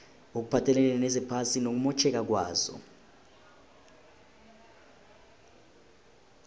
okuphathelene nezephasi nokumotjheka kwalo